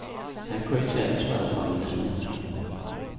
Han kunne ikke tage ansvaret for en masse mennesker.